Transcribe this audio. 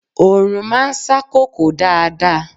Oòrùn máa ń sá kòkó dáadáa.